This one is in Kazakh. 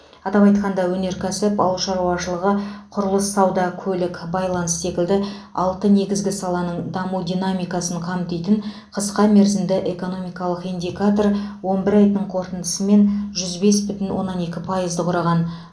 атап айтқанда өнеркәсіп ауыл шаруашылығы құрылыс сауда көлік байланыс секілді алты негізгі саланың даму динамикасын қамтитын қысқа мерзімді экономикалық индикатор он бір айдың қорытындысымен жүз бес бүтін оннан екі пайызды құраған